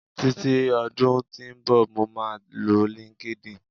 titi odun tí nbọ, mo ma lọ linkedin